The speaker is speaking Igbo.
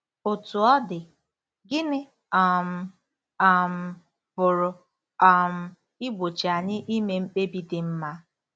Otú ọ dị, gịnị um um pụrụ um igbochi anyị ime mkpebi dị mma?